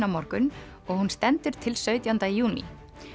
á morgun og hún stendur til sautjánda júní